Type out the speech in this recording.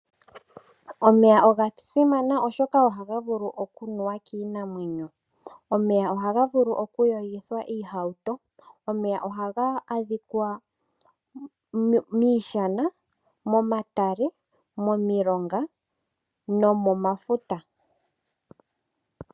Omeya oga simana oshoka oha ga vulu oku nuwa kiinamwenyo. Omeya ohaga vulu oku yogithwa iihauto. Omeya ohaga adhika miishana, momatale, momilonga nomomafuta.